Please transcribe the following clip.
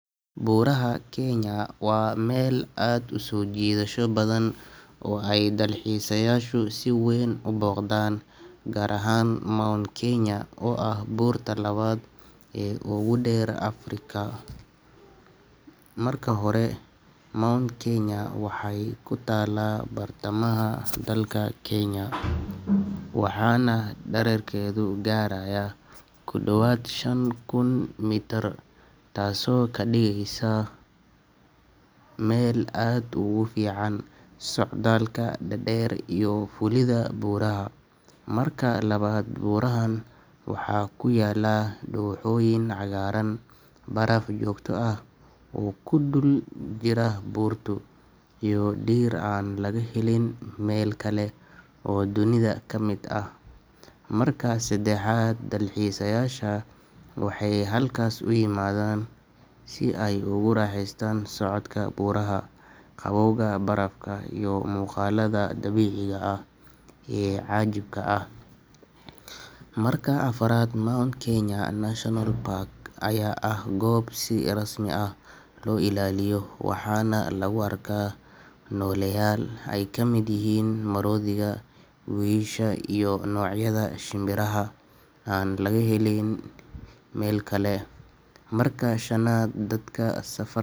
Buuraha Kenya waa meel aad u soo jiidasho badan oo ay dalxiisayaashu si weyn u booqdaan, gaar ahaan Mount Kenya oo ah buurta labaad ee ugu dheer Afrika. Marka hore, Mount Kenya waxay ku taallaa bartamaha dalka Kenya, waxaana dhererkeedu gaarayaa ku dhowaad shan kun mitir, taasoo ka dhigaysa meel aad ugu fiican socdaalka dhaadheer iyo fuulidda buuraha. Marka labaad, buurahan waxaa ku yaalla dooxooyin cagaaran, baraf joogto ah oo ku dul jira buurtu, iyo dhir aan laga helin meel kale oo dunida ka mid ah. Marka saddexaad, dalxiisayaasha waxay halkaas u yimaadaan si ay ugu raaxaystaan socodka buuraha, qabowga barafka, iyo muuqaalada dabiiciga ah ee cajiibka ah. Marka afraad, Mount Kenya National Park ayaa ah goob si rasmi ah loo ilaaliyo, waxaana lagu arkaa nooleyaal ay ka mid yihiin maroodiga, wiyisha, iyo noocyada shimbiraha aan laga helin meel kale. Marka shanaad, dadka safar.